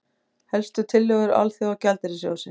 Helstu tillögur Alþjóðagjaldeyrissjóðsins